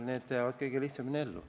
Need jäävad kõige lihtsamini ellu.